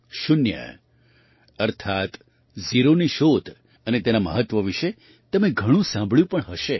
શૂન્ય અર્થાત્ ઝીરોની શોધ અને તેના મહત્ત્વ વિશે તમે ઘણું સાંભળ્યું પણ હશે